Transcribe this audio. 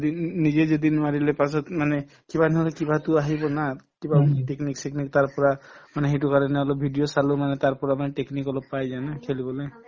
নি নিজে যদি নোৱাৰিলে পাছত মানে কিবা নহলে কিবাটো আহিব না কিবা হয়তো technique চেকনিক তাৰ পৰা মানে সেইটো কাৰণে অলপ video চালো মানে তাৰ পৰা মানে technique অলপ পাই যায় না খেলিবলে